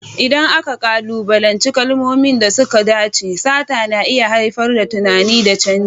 Idan aka kalubalanci kalmomin da suka dace, sata na iya haifar da tunani da canji.